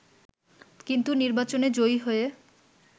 কিন্তু নির্বাচনে জয়ী হয়ে